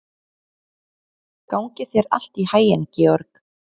Mjöll, hvaða vikudagur er í dag?